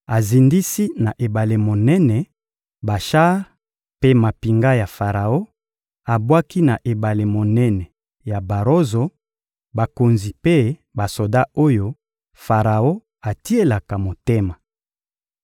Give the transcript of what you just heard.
Azindisi na ebale monene, bashar mpe mampinga ya Faraon; abwaki na ebale monene ya barozo, bakonzi mpe basoda oyo Faraon atielaka motema.